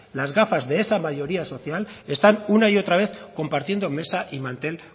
las gafas de esa mayoría social están una y otra vez compartiendo mesa y mantel